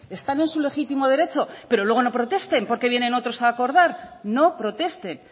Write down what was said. están en su legítimo derecho pero luego no protesten porque vienen otros a acordar no protesten